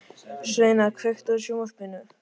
Sveina, kveiktu á sjónvarpinu.